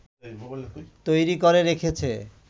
তৈরি করে রেখেছে